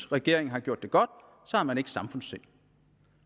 regeringen har gjort det godt så har man ikke samfundssind